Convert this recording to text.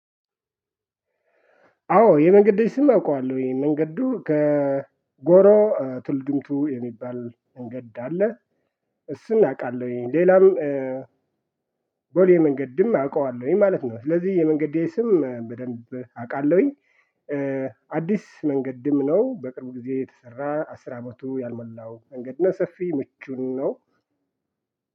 አዎ የመንገዴ ስም አውቀዋለሁ። ይሄን መንገዱ ከጎሮ ቱልድምቱ የሚባል መንገድ አለ። እሱን አውቃለሁኝ። ሌላም ቦሌ መንገድም አውቃለሁኝ ማለት ነው። ስለዚህ የመንገዴ ስም በደንብ አቃለሁኝ። አዲስ መንገድም ነው። በቅርቡ ጊዜ የተሰራ አስር አመቱ ያልመላው መንገድ ነው። ሰፊ ምቹም ነው።